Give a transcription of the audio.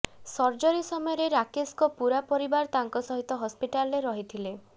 surgery ସମୟରେ ରାକେଶଙ୍କ ପୂରା ପରିବାର ତାଙ୍କ ସହିତ ହସ୍ପିଟାଲରେ ରହିଥିଲେ